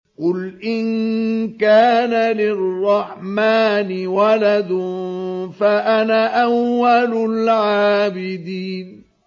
قُلْ إِن كَانَ لِلرَّحْمَٰنِ وَلَدٌ فَأَنَا أَوَّلُ الْعَابِدِينَ